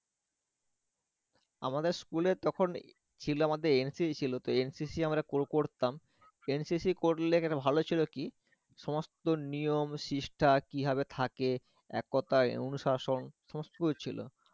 আমাদের school এ তখন ছিল আমাদের NCC ছিল তো NCC আমরা কো কোরতাম, তো NCC করলে একটা ভালো হয়েছিল কি? সমস্ত নিয়ম শিস্টা কিভাবে থাকে? একতাই অনুশাসন সমস্ত ছিল